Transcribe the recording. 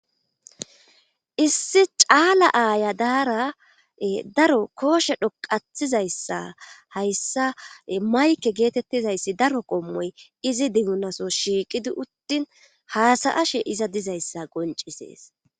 issi caala aaya daara daro kooshe dhoqatizayssa hayssa mayke geetettizayssi daro qommoy izi diunaso shiiqidi uttin haasayashe iza dizayssa goncisees